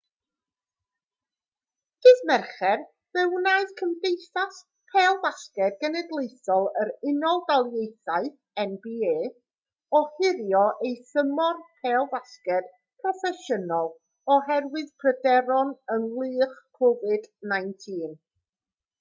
ddydd mercher fe wnaeth cymdeithas pêl-fasged genedlaethol yr unol daleithiau nba ohirio ei thymor pêl-fasged proffesiynol oherwydd pryderon ynghylch covid-19